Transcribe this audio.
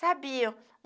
Sabia.